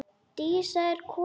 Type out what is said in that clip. Dísa er komin!